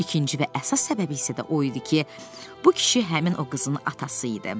İkinci və əsas səbəbi isə də o idi ki, bu kişi həmin o qızın atası idi.